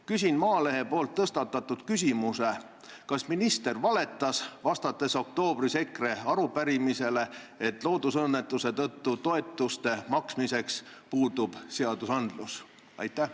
Küsin Maalehe tõstatatud küsimuse: kas minister valetas, vastates oktoobris EKRE arupärimisele, et loodusõnnetuse tõttu toetuste maksmiseks puudub seaduses alus?